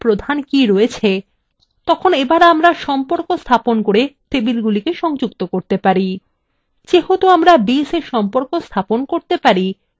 এখন যখন তিনটি টেবিলে প্রধান কী রয়েছে তখন আমরা সম্পর্ক স্থাপন করে টেবিলগুলিকে সংযুক্ত করতে পারি